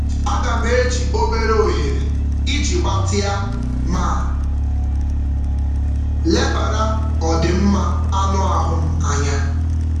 Aga m eji obere ohere iji gbatịa ma lebara ọdịmma anụ ahụ m anya.